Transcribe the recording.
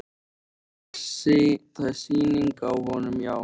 Það er sýning á honum, já.